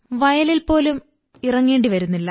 വയലിൽ പോലും ഇറങ്ങേി വരുന്നില്ല